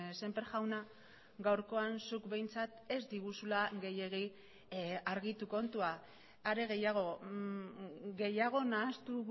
sémper jauna gaurkoan zuk behintzat ez diguzula gehiegi argitu kontua are gehiago gehiago nahastu